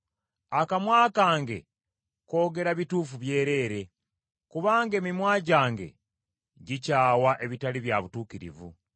Akamwa kange koogera bituufu byereere; kubanga emimwa gyange gikyawa ebitali bya butuukirivu.